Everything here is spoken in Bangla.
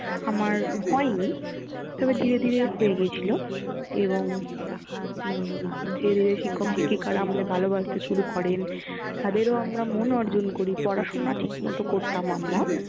আমার হয়নি তবে ধীরে ধীরে হয়ে গিয়েছিল। এবং উম ধীরে ধীরে শিক্ষক শিক্ষিকা আমাদের ভালোবাসতে শুরু করেন। তাদেরও আমরা মন অর্জন করি। পড়াশুনা ঠিকমতো করতাম আমরা